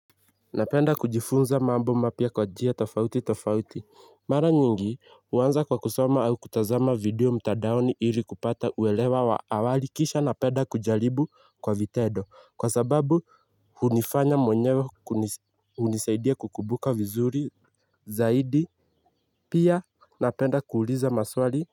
Napenda kujifunza mambo mapya kwa njia tofauti tofauti. Mara nyingi huanza kwa kusoma au kutazama video mtandaoni ili kupata uelewa wa awali kisha napenda kujalribu kwa vitendo kwa sababu hunifanya mwenyewe hunisaidia kukumbuka vizuri zaidi. Pia napenda kuuliza maswali.